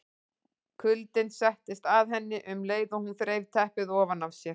Kuldinn settist að henni um leið og hún þreif teppið ofan af sér.